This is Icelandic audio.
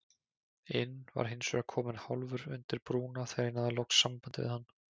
inn var hinsvegar kominn hálfur undir brúna þegar ég náði loks sambandi við hann.